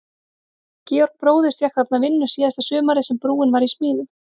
Georg bróðir fékk þarna vinnu síðasta sumarið sem brúin var í smíðum.